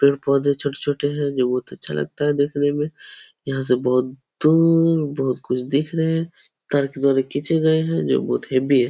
पेड़-पौधे छोटे-छोटे हैं जो बहोत अच्छा लगता है देखने में। यहाँ से बहोत दूर बहोत कुछ दिख रहे हैं। तार के द्वारा खींचे गये हैं जो बहोत हेवी हैं।